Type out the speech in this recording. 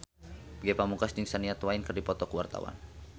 Ge Pamungkas jeung Shania Twain keur dipoto ku wartawan